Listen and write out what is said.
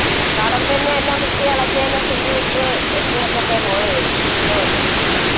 കളം തന്നെ എല്ലാം കുത്തി ഇളക്കി എല്ലാം തീയിട്ട് പോയെ വിഷ്‌ണു വന്ന്